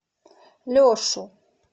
лешу